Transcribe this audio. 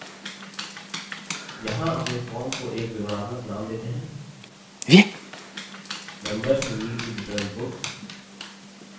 यहाँ अपने form को एक विवरणात्मक name देते हैं: members who need to return books